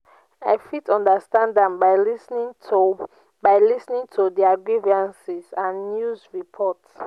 i fit understand am by lis ten ing to by lis ten ing to their grievances and news reports.